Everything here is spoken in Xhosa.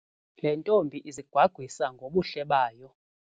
Le ntombi izigwagwisa ngobuhle bayo.